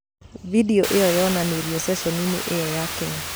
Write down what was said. Video ĩyo yonanirio ceceni-inĩ ĩyo ya Kenya.